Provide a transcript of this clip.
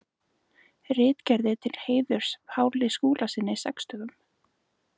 Ritgerðir til heiðurs Páli Skúlasyni sextugum.